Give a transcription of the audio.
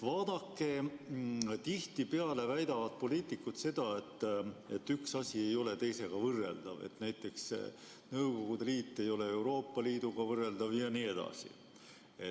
Vaadake, tihtipeale väidavad poliitikud seda, et üks asi ei ole teisega võrreldav, näiteks Nõukogude Liit ei ole Euroopa Liiduga võrreldav jne.